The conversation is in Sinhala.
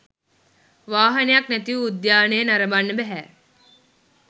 වාහනයක් නැතිව උද්‍යානය නරඹන්න බැහැ.